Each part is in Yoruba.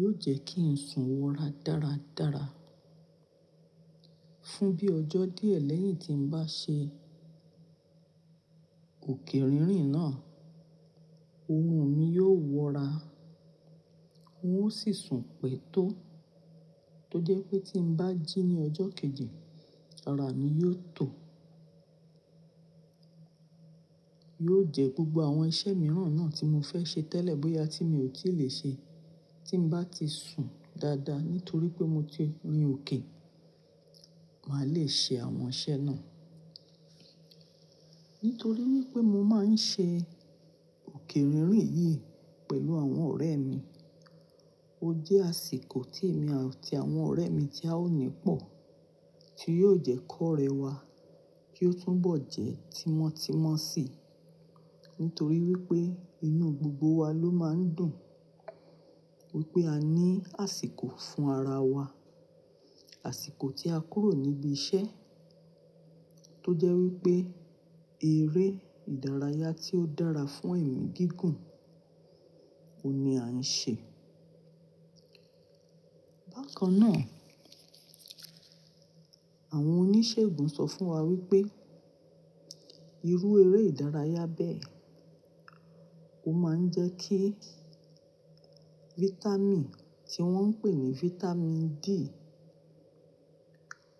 yiò jẹ́ kí n sùn wọra dáradára. Fún bí ọjọ́ díẹ̀ lẹ́yìn tí mo bá ṣe òkè rìnrin náà, orun mi yio wọra. Wọ́n ó sì sùn pẹ̀tó tó jẹ́ pé tí n ba jí ní ọjọ́ kejì, ara mi yiò tọ̀. Yiò jẹ́ gbogbo àwọn iṣẹ́ mìíràn náà tí mo fẹ́ ṣe tẹ́lẹ̀ bóyá tí mo ò tí lè ṣe tí mo bá ti sùn dáadáa nítorí pé mo ti rin òkè, màá le ṣe àwọn iṣẹ́ náà. Nítorí wípé mo máa ń ṣe òkè rìnrin yìí pẹ̀lú àwọn ọ̀rẹ́ mi, ó jẹ́ àsìkò tí èmi àti àwọn ọ̀rẹ́ mi tí a ò ní pọ̀ tí yiò jẹ́ kó orẹ wà kí ó tún bọ̀ jẹ́ tímọ́tímọ́ sí nítorí wípé inú gbogbo wa ló máa ń dùn wípé a ní àsìkò fún ara wa. Àsìkò tí a kúrò níbi iṣẹ́ tó jẹ́ wípé eré ìdárayá tí ó dára fún ẹ̀mí gígùn oun ni à ń ṣe. Bákan náà, àwọn oníṣègùn sọ fún wa wípé irú eré ìdárayá bẹ́ẹ̀ ó máa ń jẹ́ kí vitamin tí wọ́n ń pè ní vitamin D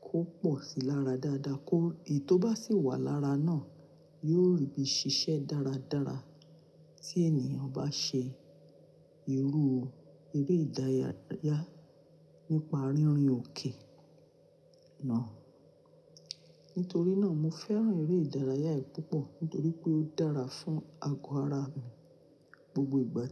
kó pọ̀ sí lára dáadáa kó, èyí tó bá sì wà lára náà yóò rìbí ṣiṣẹ́ dáradára tí ènìyàn bá ṣe irú eré ìdárayá nípa rínrin òkè náà. Nítorí náà mo fẹ́ràn eré ìdárayá yìí púpọ̀ nítorí pé ó dára fún ago ara gbogbo ìgbà.